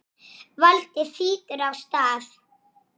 Þín systir, Edda.